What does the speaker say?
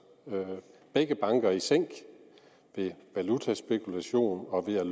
begge banker i sænk ved valutaspekulation og ved at